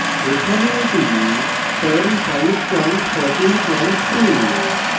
এখানে এটি perl 5142